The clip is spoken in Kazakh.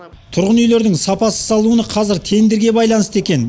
тұрғын үйлердің сапасыз салынуы қазір тендерге байланысты екен